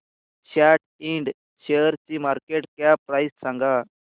सॅट Ind शेअरची market cap price सांगा